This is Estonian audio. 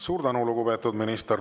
Suur tänu, lugupeetud minister!